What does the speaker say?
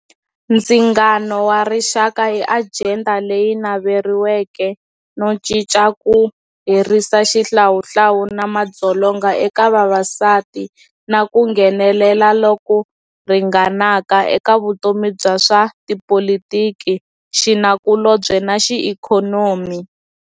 Ndzingano warixaka i ajenda leyi naveriwaka no cinca ku herisa xihlawuhlawu na madzolonga eka vavasati na ku nghenelela loku ringanaka eka vutomi bya swa tipolotiki, xinakulobye naxiikhonomi.